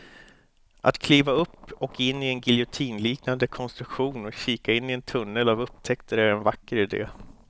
Att kliva upp och in i en giljotinliknande konstruktion och kika in i en tunnel av upptäckter är en vacker idé.